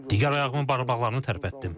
Digər ayağımın barmaqlarını tərpətdim.